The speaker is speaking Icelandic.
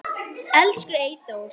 Elsku Eyþór.